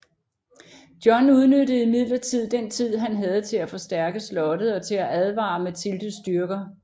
John udnyttede imidlertid den tid han havde til at forstærke slottet og til at advare Matildes styrker